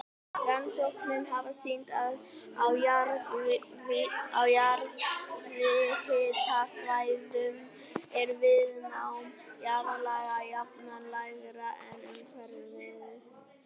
Rannsóknir hafa sýnt að á jarðhitasvæðum er viðnám jarðlaga jafnan lægra en umhverfis þau.